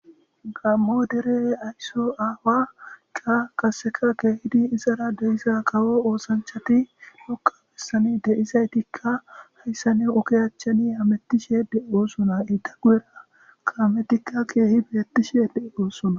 Gammo dere aysso aawaka kaseka keehidi izara deiza kawo oosanchati lokka bessani deizay tikka hayssa ne okoyachchani hamettishede oosona idaguera kaametikka keehi beettishede oossona.